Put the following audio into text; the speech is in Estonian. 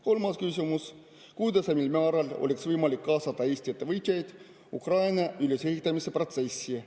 Kolmas küsimus: kuidas ja mil määral oleks võimalik kaasata Eesti ettevõtjaid Ukraina ülesehitamise protsessi?